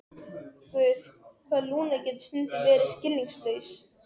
Guð, hvað Lúna getur stundum verið skilningslaus.